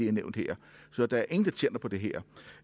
har nævnt her så der er ingen der tjener på det her